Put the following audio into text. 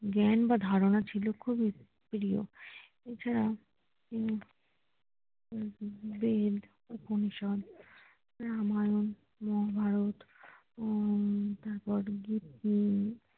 জ্ঞান বা ধারণা ছিলো খুবই প্রিয় এছাড়া উম বেদ, উপনিষদ, রামায়ণ, মহাভারত উম তারপর গীতি